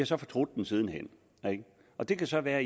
så fortrudt den siden hen ikke og det kan så være at